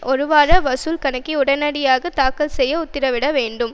ஒரு வார வசூல் கணக்கை உடனடியாக தாக்கல் செய்ய உத்தரவிடவேண்டும்